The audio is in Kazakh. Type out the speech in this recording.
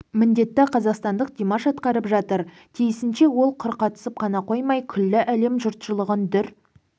міндетті қазақстандық димаш атқарып жатыр тиісінше ол құр қатысып қана қоймай күллі әлем жұртшылығын дүр